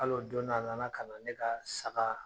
Hal'o don na, a nana kana ne kaa saga